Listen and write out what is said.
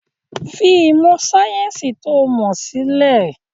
Fi ìmọ̀ sayẹ́nsi to mọ sílẹ̀!